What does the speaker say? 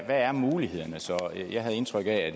er mulighederne så jeg havde indtryk af